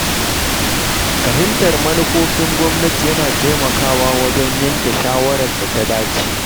Fahimtar manufofin gwamnati yana taimakawa wajen yanke shawarar da ta dace.